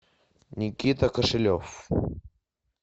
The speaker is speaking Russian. никита кошелев